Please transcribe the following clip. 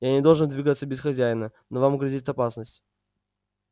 я не должен двигаться без хозяина но вам грозит опасность